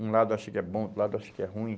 Um lado acha que é bom, outro lado acha que é ruim.